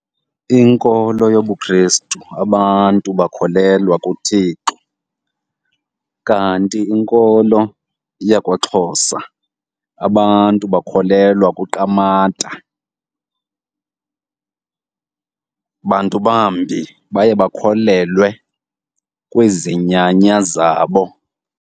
Inkolo yobuKhrestu, abantu bakholelwa kuThixo, kanti inkolo yakwaXhosa abantu bakholelwa kuQamata. Bantu bambi baye bakholelwe kwizinyanya zabo.